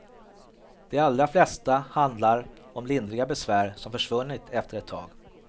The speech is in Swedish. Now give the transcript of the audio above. De allra flesta handlar om lindriga besvär som försvunnit efter ett tag.